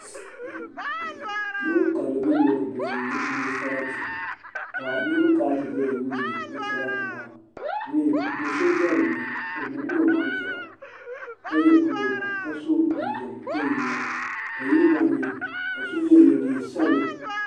Lɔɔri karili mini lɔɔri bili n nyɛ sarati kanirib kana n ti zɛya yuuni bi sarati maa so zɛ dini o muɣila omaŋ zɛya ka ye pulɔva kaso jinjam dɔn n nyɛli kayinɔmaami ka yinɔ maami. kaso mi ye neen' sabla